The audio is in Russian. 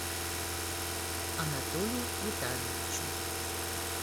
анатолию витальевичу